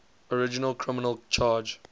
original criminal charge